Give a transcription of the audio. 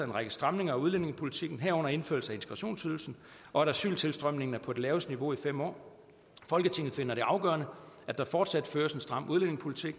en række stramninger af udlændingepolitikken herunder indførelse af integrationsydelsen og at asyltilstrømningen er på det laveste niveau i fem år folketinget finder det afgørende at der fortsat føres en stram udlændingepolitik